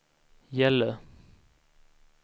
Gällö